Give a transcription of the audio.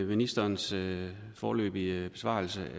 ministerens foreløbige besvarelse